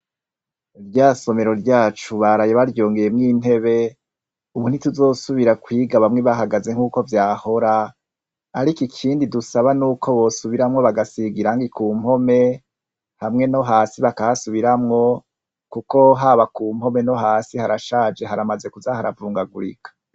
Rya somero ryacu baraye baryongeyemwo intebe, ubu ntituzosibira kwiga bamwe bahagaze nk'uko vyahora, ariko ikindi dusaba n'uko bosubiramwo bagasiga irangi ku mpome hamwe no hasi bakahasubiramwo kuko haba ku mpome no hasi harashaje, haramaze no kuza haravungagurika.